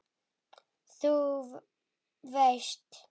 Þú veist.